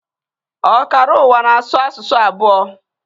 Ọkara ụwa na-asụ asụsụ abụọ